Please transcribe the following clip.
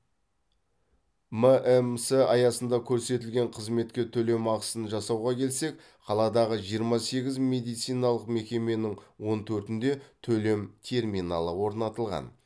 мәмс аясында көрсетілген қызметке төлем ақысын жасауға келсек қаладағы жиырма сегіз медициналық мекеменің он төртінде төлем терминалы орнатылған